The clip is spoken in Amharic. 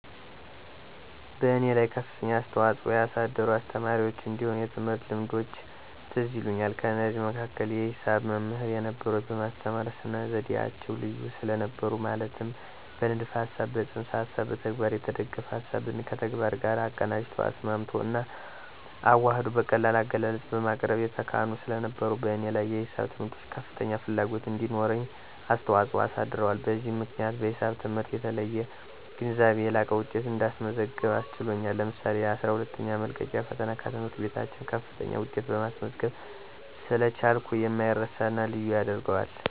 በእኔ ላይ ከፍተኛ አስተዋፅኦ ያሳደሩ አስተማሪዎች እንዲሁም የትምህርት ልምዶች ትዝ ይሉኛል። ከነዚህም መካከል የሂሳብ መምሕር የነበሩት በማስተማር ስነ-ዘዴዓቸው ልዩ ስለነበሩ ማለትም በንድፈ ሀሳብ፣ በፅንሰ ሀሳብና በተግባር የተደገፈ፤ ሀሳብን ከተግባር ጋር አቀናጅቶ፣ አስማምቶ እና አዋሕዶ በቀላል አገላለጽ በማቅረብ የተካኑ ስለነበሩ በእኔ ላይ የሂሳብ ትምህርት ከፋተኛ ፋላጎት እንዲሮረኝ አስተዋጽኦ አሳድረዋል፤ በዚህም ምክንያት በሒሳብ ትምህርት የተለየ ግንዛቤ፣ የላቀ ውጤት እንዳስመዘገብ አስችሎኛል ለምሳሌ የአስራ ሁለተኛ መልቀቂያ ፈተና ከትምህርት ቤታችን ከፋተኛ ውጤት ማስመዝገብ ስለቻልኩ የማይረሳና ልዩ ያደርገዋል።